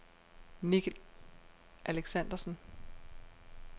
Nicky Alexandersen